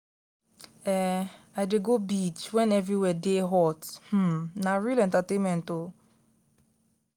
um i dey go beach wen everywhere dey hot um na real entertainment o.